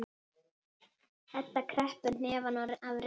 Edda kreppir hnefana af reiði.